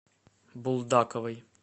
булдаковой